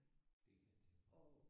Det kan jeg tænke mig